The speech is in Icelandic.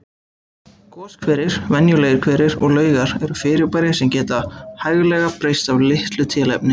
Goshverir, venjulegir hverir og laugar eru fyrirbæri sem geta hæglega breyst af litlu tilefni.